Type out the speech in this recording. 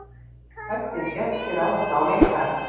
Hræddir gestir ráðast á leikara